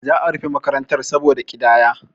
za a rufe makaranta saboda ƙidaya